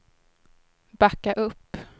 backa upp